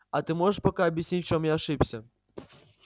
а ты можешь пока объяснить в чём я ошибся